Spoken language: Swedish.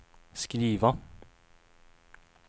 skriva